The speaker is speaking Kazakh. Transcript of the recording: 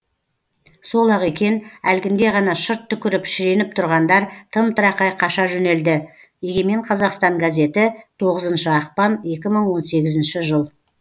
сол ақ екен әлгінде ғана шырт түкіріп шіреніп тұрғандар тым тырақай қаша жөнелді егемен қазақстан газеті тоғызыншы ақпан екі мың он сегізінші жыл